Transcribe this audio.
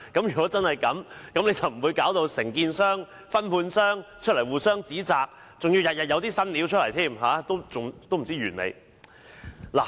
如果真的是這樣，承建商和分判商便不會出來互相指責，還要天天有"新料"，不知何時完結。